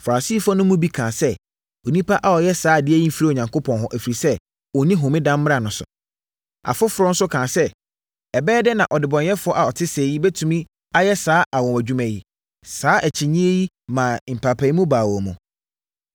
Farisifoɔ no mu bi kaa sɛ, “Onipa a ɔyɛɛ saa adeɛ yi mfiri Onyankopɔn hɔ, ɛfiri sɛ, ɔnni homeda mmara no so.” Afoforɔ nso kaa sɛ, “Ɛbɛyɛ dɛn na ɔdebɔneyɛfoɔ a ɔte sɛɛ yi bɛtumi ayɛ saa anwanwadwuma yi?” Saa akyinnyeɛ yi maa mpaapaemu baa wɔn mu.